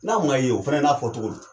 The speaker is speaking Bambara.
N'a ma ye o. O fɛnɛ n'a fɔ cogo don.